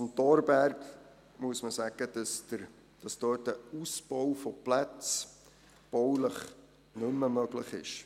Zum Thorberg muss man sagen, dass dort ein Ausbau von Plätzen baulich nicht mehr möglich ist.